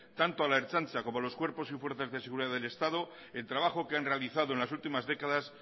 tanto a la ertzaintza como a los cuerpos y fuerzas de seguridad del estado el trabajo que han realizado en las últimas décadas